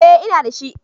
Eh, inda shi